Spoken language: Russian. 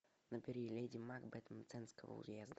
набери леди макбет мценского уезда